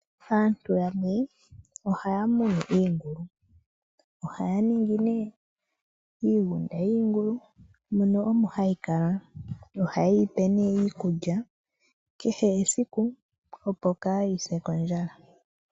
Aantu yamwe ohaya munu iingulu, ohaya ningi nee iigunda yiingulu mono omo hayi kala nohaye yi pe nee iikulya kehe esiku, opo kaayi se kondjala.